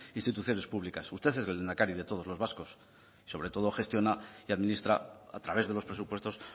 instituciones públicas usted es el lehendakari de todos los vascos sobre todo gestiona y administra a través de los presupuestos